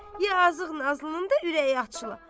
Yazıq Nazlının da ürəyi açıla.